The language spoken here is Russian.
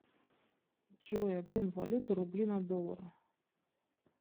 джой обмен валюты рубли на доллары